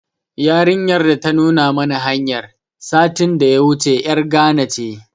Yarinyar da ta nuna mana hanyar, satin da ya wuce ƴar Gana ce.